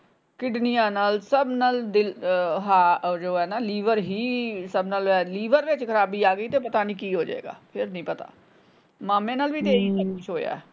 ਕਿਡਨੀਆਂ ਨਾਲ ਸਬ ਨਾਲ ਦਿਲ ਅਹ ਜੋ ਹੈ ਨਾ ਲੀਵਰ ਹੀ ਸਬ ਨਾਲ ਲੀਵਰ ਵਿੱਚ ਖਰਾਬੀ ਆ ਗਈ ਤੇ ਪਤਾ ਨਹੀਂ ਕੀ ਹੋਜੇਗਾ ਫੇਰ ਨਹੀਂ ਪਤਾ ਮਾਮੇ ਨਾਲ ਵੀ ਤੇ ਇਹੀ ਕੁਛ ਹੋਇਆ ਹਮ